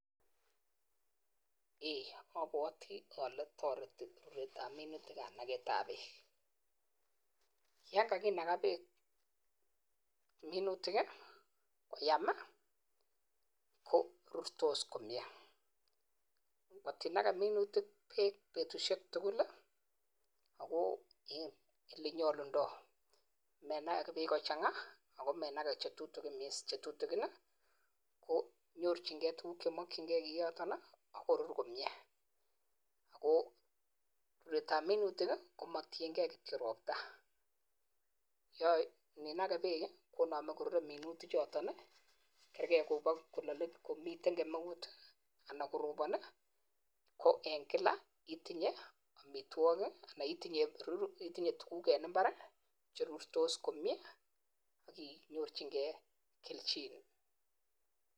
Apwatiii ale tarit Eng minutik. yakakinagaa peeek koyam korurtos komnyeee menage peeek kachanganya anan konchetutigin peeek chechang komuchi kokeem minutik